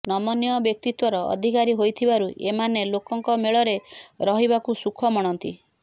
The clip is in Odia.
ନମନୀୟ ବ୍ୟକ୍ତିତ୍ୱର ଅଧିକାରୀ ହୋଇଥିବାରୁ ଏମାନେ ଲୋକଙ୍କ ମେଳରେ ରହିବାକୁ ସୁଖ ମଣନ୍ତି